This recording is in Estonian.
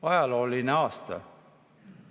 Ajalooline aasta.